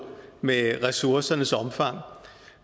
med ressourcernes omfang